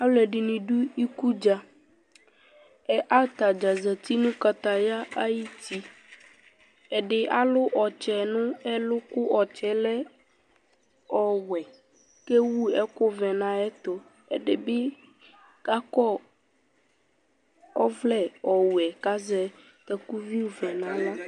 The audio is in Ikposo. Ɔlʋɛdɩnɩ dʋ iku dza kʋ ata dza zati nʋ kataya ayuti Ɛdɩ alʋ ɔtsɛ nʋ ɛlʋ kʋ ɔtsɛ yɛ lɛ ɔwɛ kʋ ewu ɛkʋvɛ nʋ ayɛtʋ, ɛdɩ bɩ kakɔ ɔvlɛ ɔwɛ kʋ azɛ takuvivɛ nʋ aɣla